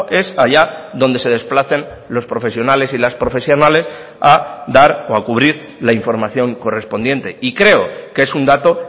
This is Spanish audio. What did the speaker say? es allá donde se desplacen los profesionales y las profesionales a dar o a cubrir la información correspondiente y creo que es un dato